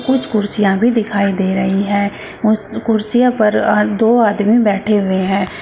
कुछ कुर्सियां भी दिखाई दे रही हैं उस कुर्सियों पर आ दो आदमी बैठे हुए हैं।